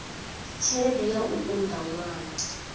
tshelede ya u unḓa ṅwana